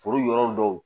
Foro yɔrɔ dɔw